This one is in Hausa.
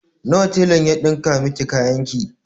Nawa telan ya ɗinka miki kayan ki?